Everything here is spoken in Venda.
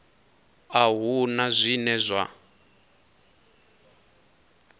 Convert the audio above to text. a hu na zwine zwa